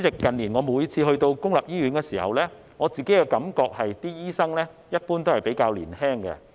近年我每次前往公營醫院時，感覺醫生一般比較年青。